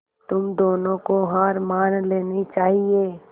तुम दोनों को हार मान लेनी चाहियें